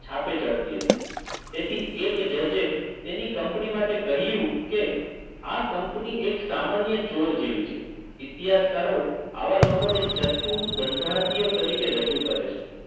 છાપે ચડતી હતી તેથી એક જજે તેની કંપની માટે કહ્યું કે આ કંપની એક સામાન્ય ચોર જેવી છે ઇતિહાસકારો આવા લોકોને ચતુર ધંધાર્થીઓ તરીકે રજૂ કરે છે